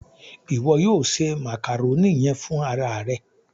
Iwọ yóò se màkàrónì yẹn fún ara ẹ.